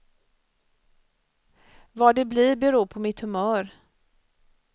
Vad det blir beror på mitt humör.